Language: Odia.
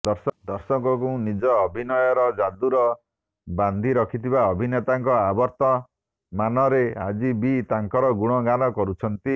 ଦର୍ଶକଙ୍କୁ ନିଜ ଅଭିନୟର ଯାଦୁର ବାନ୍ଧି ରଖୁଥିବା ଅଭିନେତାଙ୍କ ଅବର୍ତ୍ତମାନରେ ଆଜି ବି ତାଙ୍କର ଗୁଣଗାନ କରୁଛନ୍ତି